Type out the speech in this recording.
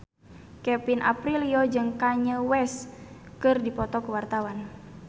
Kevin Aprilio jeung Kanye West keur dipoto ku wartawan